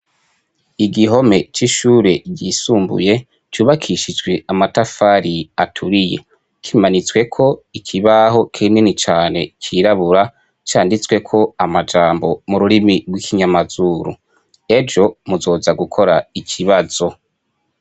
Igihome c'ishure ryisumbuye cubakishijwe amatafari aturiye, kimanitsweko ikibaho kinini cane cirabura, canditsweko amajambo mu rurimi rw'ikinyamazuru: "Ejo muzoza gukora ikibazo".